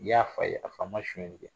I y'a fa ye a fa ma sonyali kɛ